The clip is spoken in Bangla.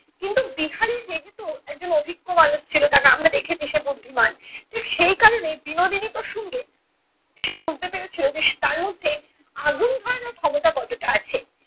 কিন্তু বিহারি যেহেতু একজন অভিজ্ঞ মানুষ ছিলো কারণ আমরা দেখেছি সে বুদ্ধিমান ঠিক সেই কারণে বিনোদিনী প্রসঙ্গে সে বুঝতে পেরেছিলো যে তার মধ্যে আগুন ধরানোর ক্ষমতা কতটা আছে।